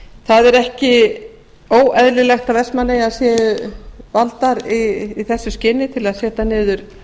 það er ekki óeðlilegt að vestmannaeyjar séu valdar í þessu skyni til að setja niður